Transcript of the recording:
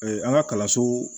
an ka kalanso